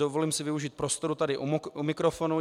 Dovolím si využít prostoru tady u mikrofonu.